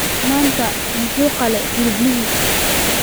Maanta muxuu qalay hiliblihii?